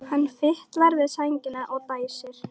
Hann fitlar við sængina og dæsir.